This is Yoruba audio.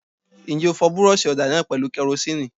Ǹjẹ́ o fọ búrọ́ṣì ọ̀dà náà pẹ̀lú kẹrosínìì?